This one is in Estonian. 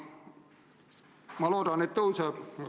Ma loodan, et kasvab.